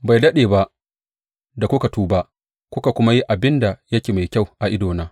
Bai daɗe ba da kuka tuba, kuka kuma yi abin da yake mai kyau a idona.